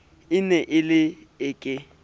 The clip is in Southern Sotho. ne e le e ke